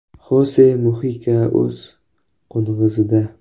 Xose Muxika o‘z “Qo‘ng‘iz”ida.